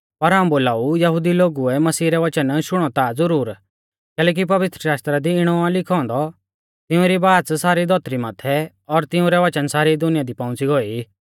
पर हाऊं बोलाऊ यहुदी लोगुऐ मसीह रै वचन शुणौ ता ज़ुरुर कैलैकि पवित्रशास्त्रा दी इणौ आ लिखौ औन्दौ तिउंरी बाच़ सारी धौतरी माथै और तिऊं रै वचन सारी दुनिया दि पौउंच़ी गौऐ ई